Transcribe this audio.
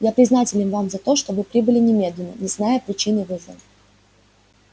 я признателен вам за то что вы прибыли немедленно не зная причины вызова